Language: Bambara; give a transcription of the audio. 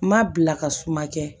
N ma bila ka suma kɛ